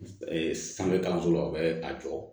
sanfɛ kalanso la u bɛ a jɔ